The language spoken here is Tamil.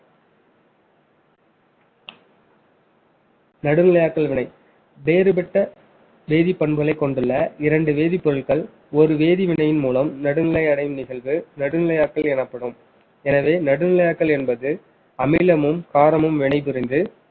நடுநிலையாட்களை விட வேறுபட்ட வேதிப்பண்புகளை கொண்டுள்ள இரண்டு வேதிப்பொருட்கள் ஒரு வேதிவினையின் மூலம் நடுநிலை அடையும் நிகழ்வு நடுநிலையாட்கள் எனப்படும் எனவே நடுநிலையாக்கள் என்பது அமிலமும் காரமும் வினைபுரிந்து